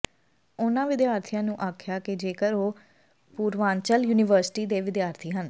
ਉਨ੍ਹਾਂ ਵਿਦਿਆਰਥੀਆਂ ਨੂੰ ਆਖਿਆ ਕਿ ਜੇਕਰ ਉਹ ਪੂਰਵਾਂਚਲ ਯੂਨੀਵਰਸਿਟੀ ਦੇ ਵਿਦਿਆਰਥੀ ਹਨ